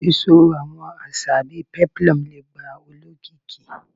Sisọ awọn aṣa bii peplum le gba olokiki